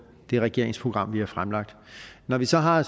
det regeringsprogram vi har fremlagt når vi så har